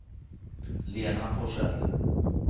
Lena Forsell